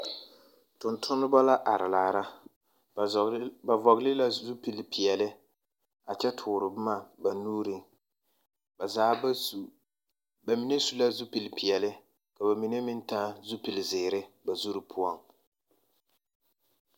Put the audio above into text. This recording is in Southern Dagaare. Tontonma la are laara. Ba zͻͻre la, ba vͻgele la zupili peԑle a kyԑ toore boma ba nuuriŋ. Ba zaa ba su, ba mine su la zupili peԑle ka ba mine meŋ taa zupili zeere ba zuri poͻŋ.